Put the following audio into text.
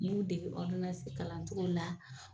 N y'u degi kalancogo la